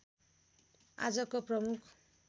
आजको प्रमुख